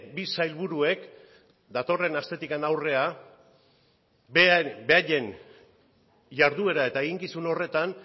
bi sailburuek datorren astetik aurrera beraien jarduera eta eginkizun horretan